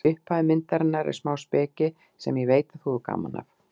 Í upphafi myndarinnar er smá speki sem ég veit að þú hefur gaman af.